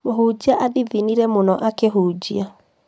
mũhunjia athithinire mũno akĩhunjia